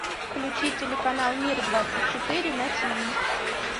включи телеканал мир двадцать четыре на тиви